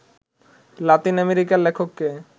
Latin American লেখককে